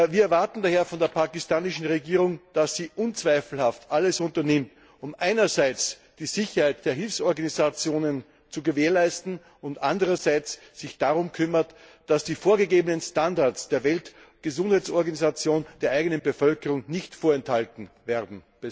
Wir erwarten daher von der pakistanischen Regierung, dass sie unzweifelhaft alles unternimmt, um einerseits die Sicherheit der Hilfsorganisationen zu gewährleisten, und sich andererseits darum kümmert, dass die vorgegebenen Standards der Weltgesundheitsorganisation der eigenen Bevölkerung nicht vorenthalten werden.